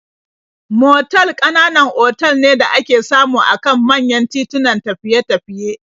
Motal ƙananan otal ne da ake samu a kan manyan titunan tafiye-tafiye.